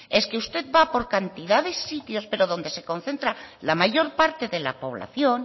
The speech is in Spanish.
es que usted va por cantidad de sitios pero donde se concentra la mayor parte de la población